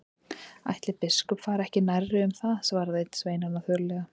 Ætli biskup fari ekki nærri um það, svaraði einn sveinanna þurrlega.